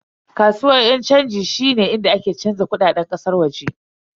Kasuwan yan chanji shine inda ake canza kudaden kasar waje.